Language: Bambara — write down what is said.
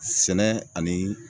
Sɛnɛ ani